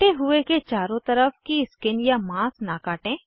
कटे हुए के चारों तरफ की स्किन या माँस न काटें